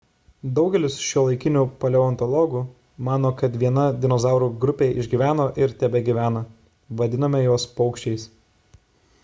daugelis šiuolaikinių paleontologų mano kad viena dinozaurų grupė išgyveno ir tebegyvena vadiname juos paukščiais